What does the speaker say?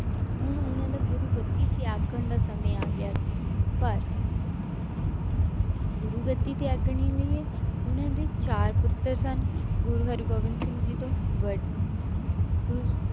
ਹੁਣ ਉਹਨਾਂ ਦਾ ਗੁਰੂਗੱਦੀ ਤਿਆਗਣ ਦਾ ਸਮੇਂ ਆ ਗਿਆ ਸੀ ਪਰ ਗੁਰੂਗੱਦੀ ਤਿਆਗਣੇ ਲਈ ਉਹਨਾਂ ਦੇ ਚਾਰ ਪੁੱਤਰ ਸਨ, ਗੁਰੂ ਹਰਿਗੋਬਿੰਦ ਸਿੰਘ ਜੀ ਤੋਂ ਵ~ ਅਹ ਗੁਰੂ